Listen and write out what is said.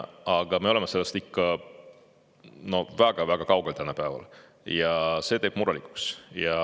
Aga me oleme sellest ikka väga-väga kaugel tänapäeval ja see teeb murelikuks.